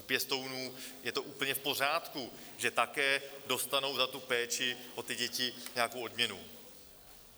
U pěstounů je to úplně v pořádku, že také dostanou za tu péči o ty děti nějakou odměnu.